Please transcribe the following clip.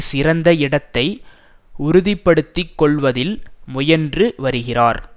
சிறந்த இடத்தை உறுதிப்படுத்துக் கொள்ளுவதில் முயன்று வருகிறார்